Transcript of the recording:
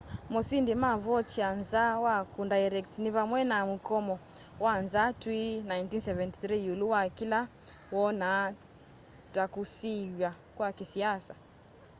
mosindi ma vautier nza wa kundairect ni vamwe na mukomo wa nzaa twi 1973 iulu wa kila woona ta kusiiwa kwa kisiasa